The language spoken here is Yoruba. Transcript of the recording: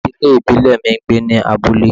Ìdílé ìbílẹ̀ mi ń gbé ní abúlé